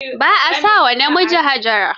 Ba a sa wa namiji Hajara.